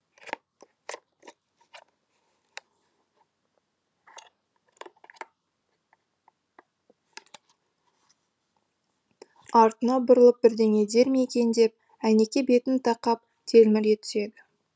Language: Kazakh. артына бұрылып бірдеңе дер ме екен деп әйнекке бетін тақап телміре түседі